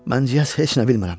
Mən deyəsən heç nə bilmirəm.